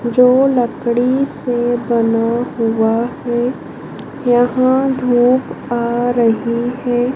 जो लकड़ी से बना हुआ है। यहां धूप आ रही है।